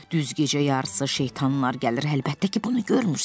Düz gecə yarısı şeytanlar gəlir, əlbəttə ki, bunu görmürsən.